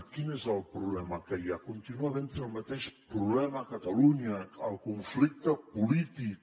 quin és el problema que hi ha contínua havent el mateix problema a catalunya el conflicte polític